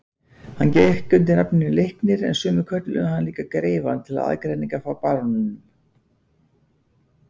Hann gekk undir nafninu Leiknir en sumir kölluðu hann líka greifann til aðgreiningar frá baróninum.